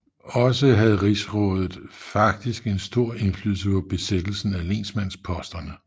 Også havde rigsrådet faktisk en stor indflydelse på besættelsen af lensmandsposterne